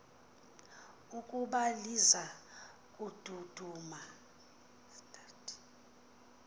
ukuba liza kududuma